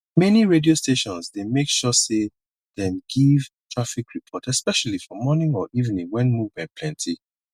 many radio stations dey make sure sey dem give traffic report especially for morning or evening when movement plenty